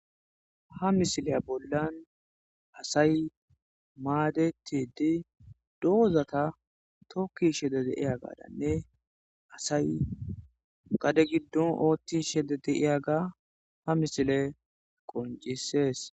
ha misiliya bollan asay maadetidi doozata tokkishe de'iyaagane asay gade giddon oothtishe de'iyaga ha misiley qoncisees